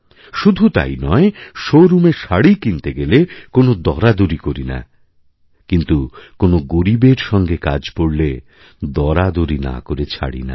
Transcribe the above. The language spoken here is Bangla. শুধু তাই নয় শোরুমে শাড়ি কিনতেগেলে কোনো দরাদরি করি না কিন্তু কোনো গরীবের সঙ্গে কাজ পড়লে দরাদরি না করে ছাড়িনা